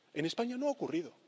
En España no ha ocurrido.